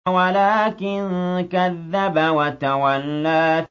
وَلَٰكِن كَذَّبَ وَتَوَلَّىٰ